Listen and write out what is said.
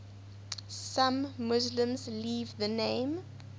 some muslims leave the name